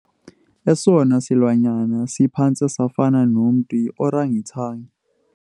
Esona silwanyana siphantse safana nomntu yiorangitangi.